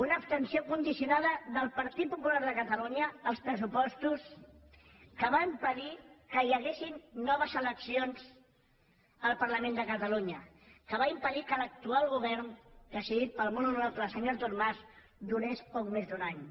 una abstenció condicionada del partit popular de catalunya als pressupostos que va impedir que hi haguessin noves eleccions al parlament de catalunya que va impedir que l’actual govern presidit pel molt honorable senyor artur mas durés poc més d’un any